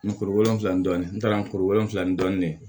Nkuru wolonfila dɔni n taara kuru wolonwula ni dɔɔnin de ye